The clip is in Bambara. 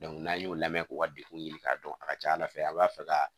n'an y'o lamɛ k'u ka dekun ɲini k'a dɔn a ka ca ala fɛ a b'a fɛ ka